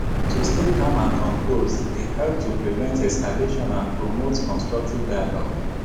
to stay calm and composed dey help to prevent escalation and promote constructive dialogue